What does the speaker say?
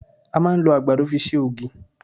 À máa ń lo àgbàdo fi ṣe ògí